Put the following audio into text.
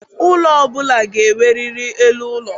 Ụlọ ọ bụla ga-enwerịrị elu ụlọ.